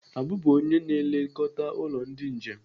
Abu bụ onye na-elekọta ụlọ ndị njem